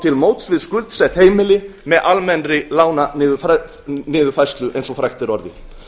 til móts við skuldsett heimili með almennri lánaniðurfærslu eins og frægt er orðið